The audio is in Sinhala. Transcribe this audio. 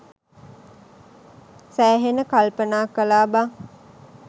සෑහෙන්න කල්පනා කලා බං.